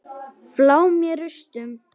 Flá með rústum.